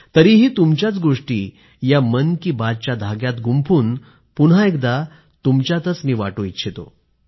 तरीही तुमच्याच गोष्टी या मन की बातच्या धाग्यात गुंफून पुन्हा एकदा तुमच्यातच वाटून टाकायची इच्छा आहे